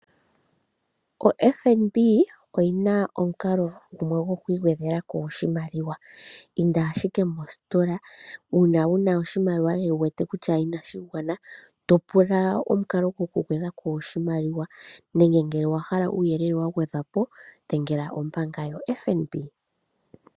OFNB oyi na omukalo gumwe gwoku i gwedhela ko oshimaliwa. Inda ashike mositola una wu na oshimaliwa wu wete kutya inashi gwana to pula omukalo gwokugwedha ko oshimaliwa. Nenge ngele owa hala uuyelele wa gwedhwa po dhengela ombanga yoFNB.